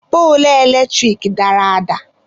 Poolu eletrik dara ada.